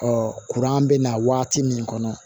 bɛ na waati min kɔnɔ